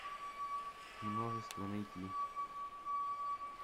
множество найти